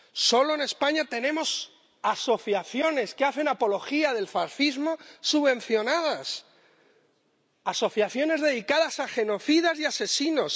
Solo en España tenemos asociaciones que hacen apología del fascismo subvencionadas, asociaciones dedicadas a genocidas y asesinos.